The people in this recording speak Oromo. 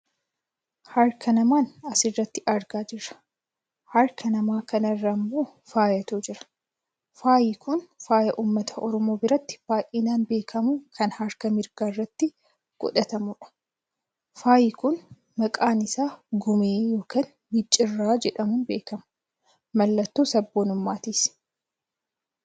Harka namaan asirratti argaa jira. Harka nama kanaa irra ammoo faayatu jira, faayi kun faaya uummata Oromoo biratti baayyinaan beekkamu kan harka mirgaarratti godhatamudha. Faayi kun maqaan isaa gumee yookaan micciirraa jedhamuun beekkama. Mallattoo sabboonummaatis.